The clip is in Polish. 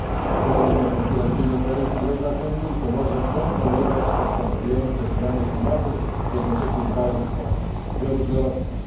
Ochroni to konkurencyjność na rynku drewna w Unii i pomoże kontrolować postępujące zmiany klimatu, jednocześnie dbając o bioróżnorodność.